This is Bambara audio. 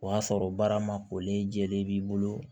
O y'a sɔrɔ baara ma kolen jɛlen b'i bolo